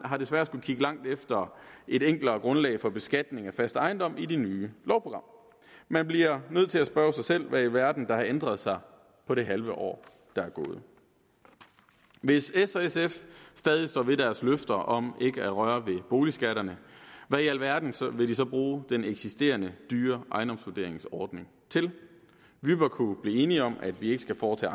har desværre skullet kigge langt efter et enklere grundlag for beskatning af fast ejendom i det nye lovprogram man bliver nødt til at spørge sig selv hvad i alverden der har ændret sig på det halve år der er gået hvis s og sf stadig står ved deres løfter om ikke at røre ved boligskatterne hvad i alverden vil de så bruge den eksisterende dyre ejendomsvurderingsordning til vi bør kunne blive enige om at vi ikke skal foretage